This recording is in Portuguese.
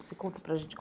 Você conta para a gente.